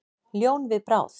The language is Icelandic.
Ljón við bráð.